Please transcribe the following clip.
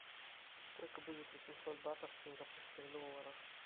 сколько будет восемьсот батов в сингапурских долларах